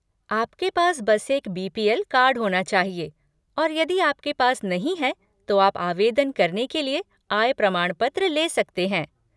आपके पास बस एक बी.पी.एल. कार्ड होना चाहिए और यदि आपके पास नहीं है तो आप आवेदन करने के लिए आय प्रमाण पत्र ले सकते हैं।